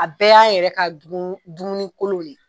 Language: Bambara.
A bɛɛ y'an yɛrɛ ka dumuni kolonw de ye.